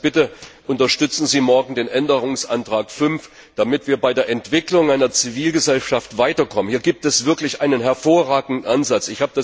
Also bitte Unterstützen Sie morgen den Änderungsantrag 5, damit wir bei der Entwicklung einer Zivilgesellschaft weiterkommen! Hier gibt es wirklich einen hervorragenden Ansatz.